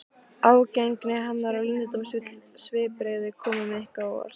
Ágengni hennar og leyndardómsfull svipbrigði komu Nikka á óvart.